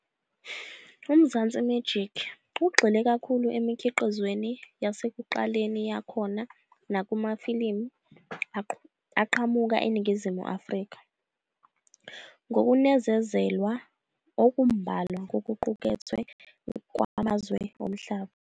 UMzansi Magic ugxile kakhulu emikhiqizweni yasekuqaleni yakhona nakumafilimu aqhamuka eNingizimu Afrika, ngokunezelwa okumbalwa kokuqukethwe kwamazwe omhlaba.